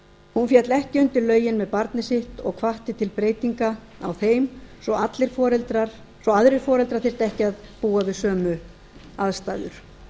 enn féll ekki undir lögin með barnið sitt og hvatti til breytinga á þeim svo aðrir foreldrar þyrftu ekki að búa við sömu aðstæður